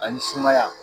Ani sumaya